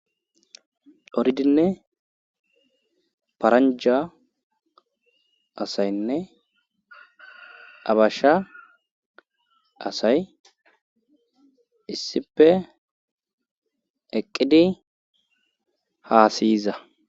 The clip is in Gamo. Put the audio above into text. Doridinne paranja asaynne abasha asay issipe eqqidi haasiyiza.